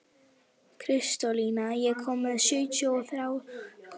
Kristólína, ég kom með sjötíu og þrjár húfur!